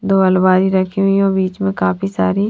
दो अलमारी रखी हुई है बिच में काफी सारी--